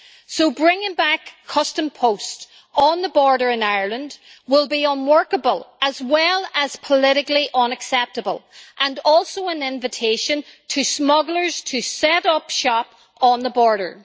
So bringing back customs posts on the border in Ireland will be unworkable as well as politically unacceptable and also an invitation to smugglers to set up shop on the border.